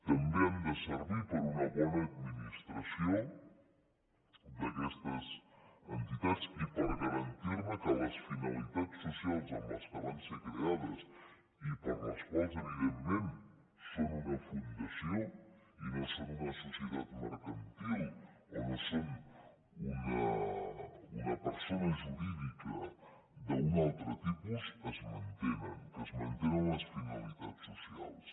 també han de servir per a una bona administració d’aquestes entitats i per garantir que les finalitats socials amb què van ser creades i per les quals evidentment són una fundació i no són una societat mercantil o no són una persona jurídica d’un altre tipus es mantenen que es mantenen les finalitats socials